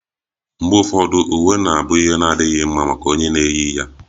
Mgbe ụfọdụ, uwe ga-abụ ihe na-adịghị mma maka onye na-eyi ya